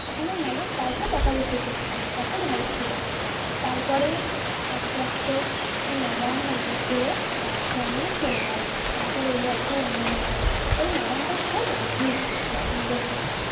তখন ওই madam কাউকে বকাবকি করতো না এতো ভালো ছিল। তারপরে আস্তে আস্তে ওই madam অন্য school এ transfer নিয়ে চলে গেলো। তারপর এলো একটা অন্য madam ওই madam টা খুব রাগি বদ মেজাজি